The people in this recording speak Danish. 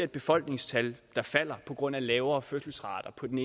befolkningstal der falder på grund af lavere fødselsrater og på den